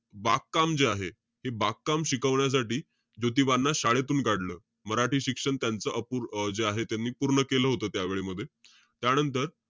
बागकाम जे आहे, हे बागकाम शिकवण्यासाठी, ज्योतीबांना शाळेतून काढलं. मराठी शिक्षण त्यांचं अपूर~ जे आहे त्यांनी पूर्ण केलं होतं त्यावेळमध्ये. त्यानंतर,